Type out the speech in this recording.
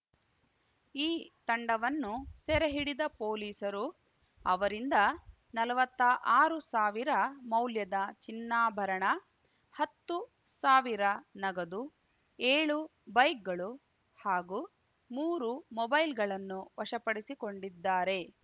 ಈ ತಂಡವನ್ನು ಸೆರೆಹಿಡಿದ ಪೊಲೀಸರು ಅವರಿಂದ ನಲವತ್ತ ಆರು ಸಾವಿರ ಮೌಲ್ಯದ ಚಿನ್ನಾಭರಣ ಹತ್ತು ಸಾವಿರ ನಗದು ಏಳು ಬೈಕ್‌ಗಳು ಹಾಗೂ ಮೂರು ಮೊಬೈಲ್‌ಗಳನ್ನು ವಶಪಡಿಸಿಕೊಂಡಿದ್ದಾರೆ